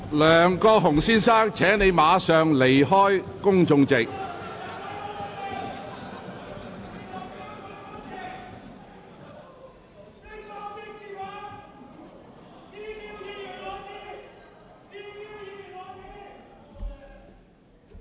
梁國雄先生，請立即離開公眾席。